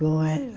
Com ela.